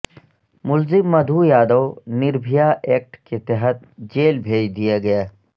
ملزم مدھو یادو نربھیا ایکٹ کے تحت جیل بھیج دیا گیا